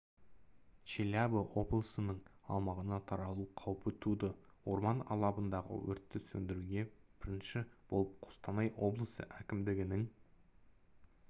челябі облысының аумағына таралу қаупі туды орман алабындағы өртті сөндіруге бірінші болып қостанай облысы әкімдігінің